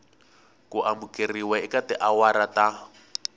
ku amukeriwa eka tiawara ta